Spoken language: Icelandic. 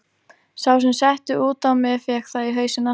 Sá sem setti út á mig fékk það í hausinn aftur.